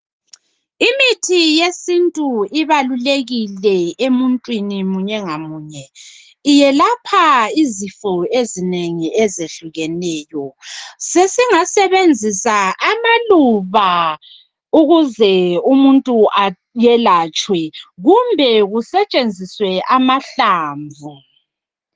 Imithi yesintu ibalulekile emuntwini munye ngamunye. Yelapha izinto izifo ezinengi ezehlukeneyo. Sesingasebenzisa amaluba ukuze umuntu ayilatshwe kumbe kusetshenziswe amahlamvu.